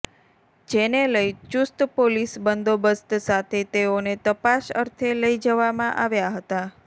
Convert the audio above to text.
જેને લઈ ચુસ્ત પોલીસ બંદોબસ્ત સાથે તેઓને તપાસ અર્થે લઈ જવામાં આવ્યા હતા